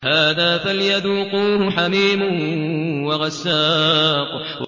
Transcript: هَٰذَا فَلْيَذُوقُوهُ حَمِيمٌ وَغَسَّاقٌ